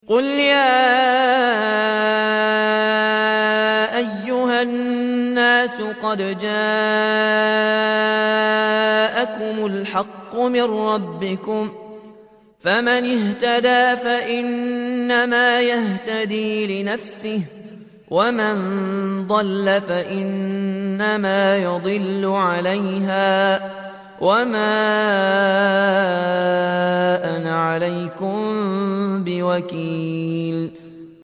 قُلْ يَا أَيُّهَا النَّاسُ قَدْ جَاءَكُمُ الْحَقُّ مِن رَّبِّكُمْ ۖ فَمَنِ اهْتَدَىٰ فَإِنَّمَا يَهْتَدِي لِنَفْسِهِ ۖ وَمَن ضَلَّ فَإِنَّمَا يَضِلُّ عَلَيْهَا ۖ وَمَا أَنَا عَلَيْكُم بِوَكِيلٍ